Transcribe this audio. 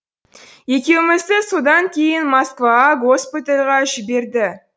екеумізді содан кейін москваға госпитальға жіберді